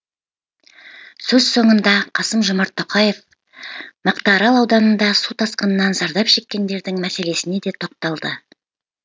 сөз соңында қасым жомарт тоқаев мақтаарал ауданында су тасқынынан зардап шеккендердің мәселесіне де тоқталды